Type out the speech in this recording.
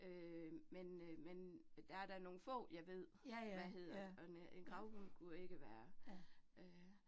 Øh men øh men der er da nogle få, jeg ved, hvad hedder, og en øh en gravhund kunne ikke være øh